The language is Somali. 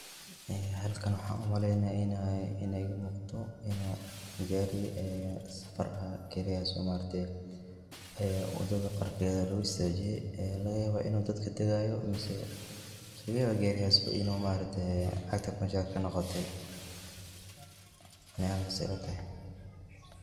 Ee halkan waxan umaleynaya inay iga muuqato inu ee gaari safar ah, gaarigas oo ma aragte ee wadada qarkeeda lugu istaajiye ee laga yaabo inu dad kadegaayo, mise laga yaabo gaarigas inu ee cagta banjaa kanoqotey aniga say ilatahay